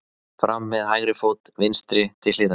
Fram með hægri fót. vinstri til hliðar.